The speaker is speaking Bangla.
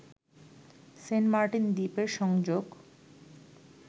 সেন্টমার্টিন দ্বীপের সংযোগ